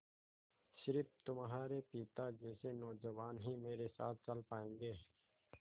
स़िर्फ तुम्हारे पिता जैसे नौजवान ही मेरे साथ चल पायेंगे